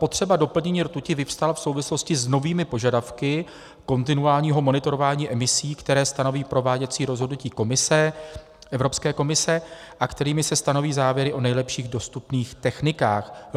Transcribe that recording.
Potřeba doplnění rtuti vyvstala v souvislosti s novými požadavky kontinuálního monitorování emisí, které stanoví prováděcí rozhodnutí Komise, Evropské komise, a kterými se stanoví závěry o nejlepších dostupných technikách.